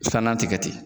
Filanan tɛ kɛ ten